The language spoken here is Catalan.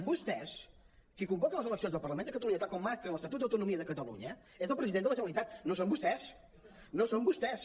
vostès qui convoca les eleccions del parlament de catalunya tal com marca l’estatut d’autonomia de catalunya és el president de la generalitat no són vostès no són vostès